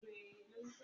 Oluko wa ni ki a ya obo